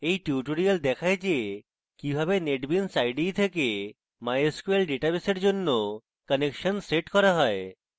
এই tutorial দেখায় কিভাবে netbeans ide থেকে mysql database এর জন্য connection সেট করা যায়